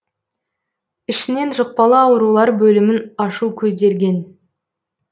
ішінен жұқпалы аурулар бөлімін ашу көзделген